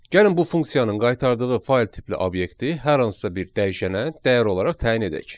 Gəlin bu funksiyanın qaytardığı fayl tipli obyekti hər hansısa bir dəyişənə dəyər olaraq təyin edək.